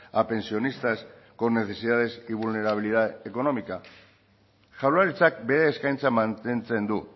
a pensionistas con necesidades y vulnerabilidad económica jaurlaritzak bere eskaintza mantentzen du